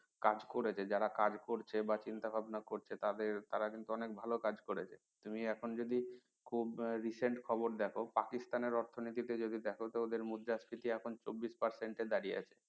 কাজ করেছে যারা কাজ করছে বা চিন্তা ভাবনা করছে তাদের তারা কিন্তু অনেক ভালো কাজ করছে তুমি এখন যদি খুব recent খবর দেখো পাকিস্তান এর অর্থনীতি যদি দেখ তো তাদের মুদ্রাস্ফীতি এখন চব্বিশ percent এ দাঁড়িয়ে আছে